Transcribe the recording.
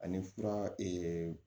Ani fura